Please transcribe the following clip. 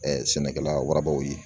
sɛnɛkɛla warabaw ye